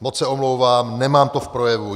Moc se omlouvám, nemám to v projevu.